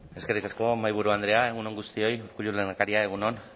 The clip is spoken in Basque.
eskerrik asko mahaiburu andrea egun on guztioi urkullu lehendakaria egun on